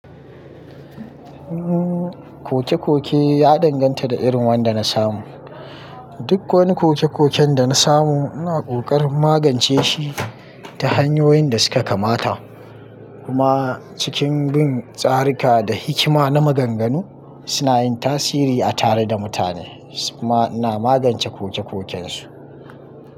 Umm, koke-koke ya danganta da irin wanda na samu. Duk wani koke-koken da na samu ina kokarin magance shi ta hanyoyin da suka kamata. Kuma cikin bin tsarika da hikima na maganganu, suna yin tasiri a tare da mutane so kuma ina magance koke-koken su.